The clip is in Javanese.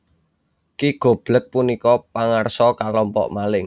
Ki Goblek punika pangarsa kalompok maling